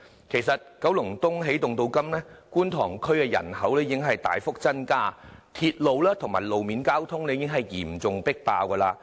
其實，九龍東起動至今，觀塘區人口已大幅增加，鐵路和路面交通已嚴重迫爆。